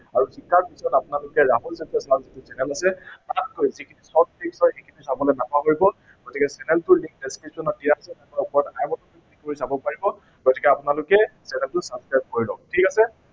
আৰু শিকাৰ পিছত আপোনালোকে ৰাহুল নামৰ যিটো channel আছে তাত গৈ short key এইখিনি চাবলে নাপাহৰিব। channel টোৰ link description ত দিয়া আছে, তাত গৈ চাব পাৰিব, গতিকে আপোনালোকে channel টো subscribe কৰি লওক, ঠিক আছে।